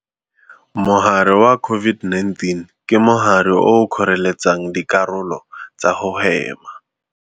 Mogare wa COVID-19 ke mogare o o kgoreletsang dikarolo tsa go hema.